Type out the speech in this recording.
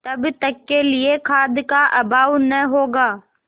तब तक के लिए खाद्य का अभाव न होगा